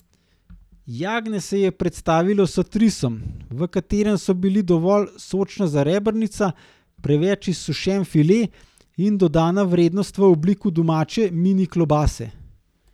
Jagnje se je predstavilo s trisom, v katerem so bili dovolj sočna zarebrnica, preveč izsušen file in dodana vrednost v obliki domače mini klobase.